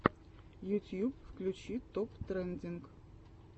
ютьюб включи топ трендинг